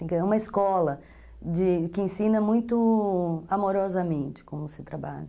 É uma escola que ensina muito amorosamente como se trabalha.